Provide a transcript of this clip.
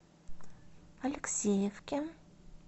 алексеевке